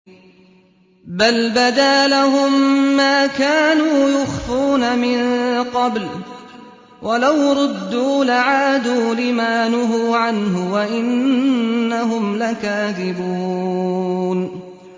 بَلْ بَدَا لَهُم مَّا كَانُوا يُخْفُونَ مِن قَبْلُ ۖ وَلَوْ رُدُّوا لَعَادُوا لِمَا نُهُوا عَنْهُ وَإِنَّهُمْ لَكَاذِبُونَ